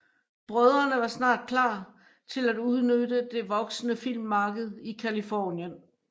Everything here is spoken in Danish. Brødrene var snart klar til at udnytte det voksende filmmarked i Californien